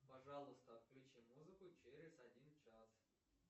пожалуйста отключи музыку через один час